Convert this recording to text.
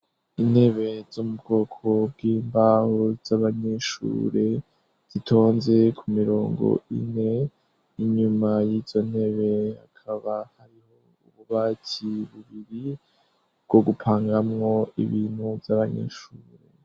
Intebe zo mubwoko bwimbaho z'abanyeshure zitonze ku mirongo ine inyuma yizo ntebe hakaba hariho ububati bubiri bwo gupangamwo ibintu vy'abanyeshure.